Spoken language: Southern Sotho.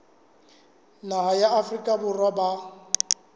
naha ya afrika borwa ba